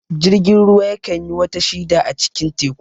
Jirgin ruwa ya kan yi wata shida a cikin teku